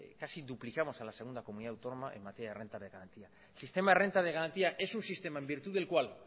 casi duplicamos a la segunda comunidad autónoma en materia de renta de garantía sistema renta de garantía es un sistema en virtud del cual